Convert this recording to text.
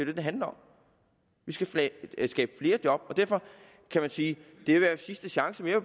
det det handler om vi skal skabe flere job og derfor kan man sige at det her er sidste chance jeg